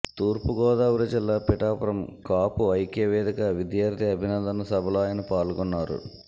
తూర్పుగోదావరి జిల్లా పిఠాపురం కాపు ఐక్యవేదిక విద్యార్థి అభినందన సభలో ఆయన పాల్గొన్నారు